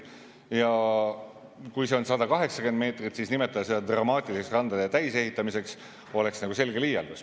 Ja kui see on 180 meetrit, siis nimetada seda dramaatiliseks randade täisehitamiseks oleks nagu selge liialdus.